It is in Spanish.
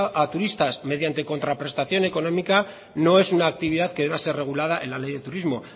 a turistas mediante contraprestación económica no es una actividad que deba ser regulada en la ley de turismo